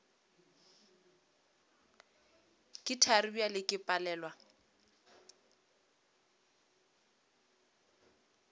ke thari bjale ke palelwa